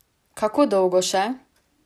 Kako dolgo še?